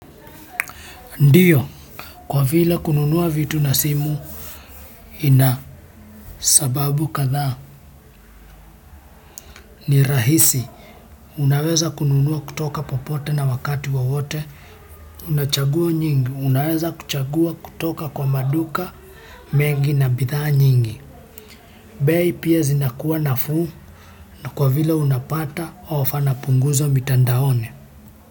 Ndiyo, kwa vile kununua vitu na simu kuna sababu kadhaa, ni rahisi. Unaweza kununua kutoka popote na wakati wowote. Una chaguo nyingi, unaweza kuchagua kutoka kwa maduka mengi na bidhaa nyingi. Bei pia zinakuwa nafuu na kwa vile unapata punguzo mitandaoni.